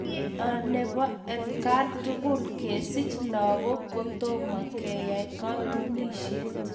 Kei nebo atkaan tugul kesich lagook kotomo keyai katunisyet